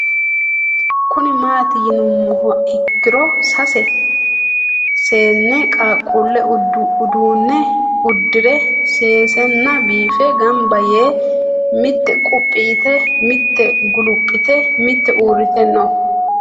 Kuni mati yinumoha ikiro saese seene qaqule udune udire sesena bife gamba yee mite qupi yite mite gulupite mite urite no?